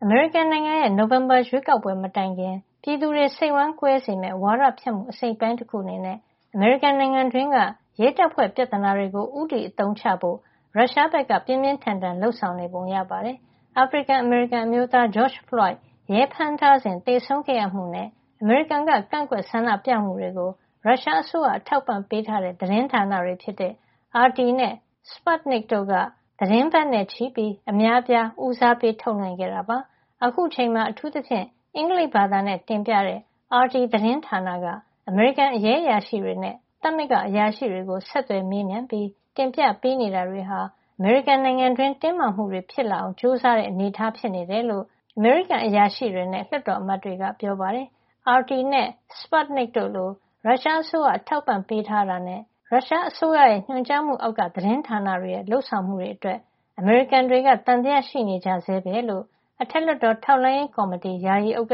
မေရိကန်နိုင်ငံရဲ့ နိုဝင်ဘာ ရွေးကောက်ပွဲ မတိုင်ခင် ပြည်သူတွေ စိတ်ဝမ်းကွဲစေမယ့် ဝါဒဖြန့်မှု အစိတ်အပိုင်း တခု အနေနဲ့ အမေရိကန်နိုင်ငံတွင်းက ရဲတပ်ဖွဲ့ပြဿနာတွေကို ဦးတည် အသုံးချဖို့ ရုရှားက ပြင်းပြင်းထန်ထန်လုပ်ဆောင်နေပုံရပါတယ်။ အာဖရိကန် အမေရိကန်အမျိုးသား George Floyd ရဲဖမ်းထားစဉ် သေဆုံးခဲ့မှုနဲ့ အမေရိကန်က ကန့်ကွက်ဆန္ဒပြမှုတွေကို ရုရှားအစိုးရ အထောက်အပံ့ ပေးထားတဲ့ သတင်းဌာနတွေ ဖြစ်တဲ့ RT နဲ့ Sputnik တို့က သီတင်းပတ်နဲ့ချီပြီး အများအပြား ဦးစားပေးထုတ်လွှင့်ခဲ့တာပါ။ အခုအချိန်မှာ အထူးသဖြင့် အင်္ဂလိပ်ဘာသာနဲ့ တင်ပြတဲ့ RT သတင်းဌာနက အမေရိကန် ရဲအရာရှိတွေနဲ့. သမဂ္ဂအရာရှိေတွေကို ဆက်သွယ် မေးမြန်းပြီး တင်ပြ ပေးနေတာတွေဟာ အမေရိကန်နိုင်ငံတွင်း တင်းမာမှုတွေ ဖြစ်လာအောင် ကြိုးစားတဲ့ အနေထား ဖြစ်နေတယ်လို့ အမေရိကန် အရာရှိတွေနဲ့ လွှတ်တော် အမတ်တွေက ပြောပါတယ်။ RT နဲ့ Sputnik တို့လို ရုရှာအစိုးရ အထောက်အပံ့ပေးထား တာနဲ့ ရုရှားအစိုးရ ညွှန်ကြားမှုအောက်က သတင်းဌာန တွေရဲ့ လုပ်ဆောင်မှုအတွက် အမေရိကန်တွေက သံသယရှိနေကြဆဲပဲလို့ အထက်လွှတ်တော် ထောက်လှမ်းရေး ကော်မတီ ယာယီ ဥက္က